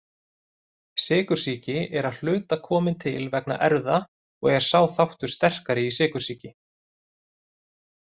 Sykursýki er að hluta komin til vegna erfða og er sá þáttur sterkari í sykursýki.